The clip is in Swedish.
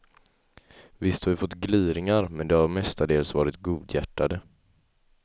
Visst har vi fått gliringar, men det har mestadels varit godhjärtade.